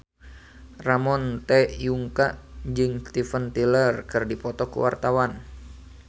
Ramon T. Yungka jeung Steven Tyler keur dipoto ku wartawan